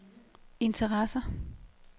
interesserer